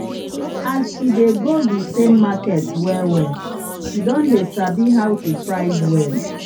as she dey go the same market well well she don dey sabi how to price well.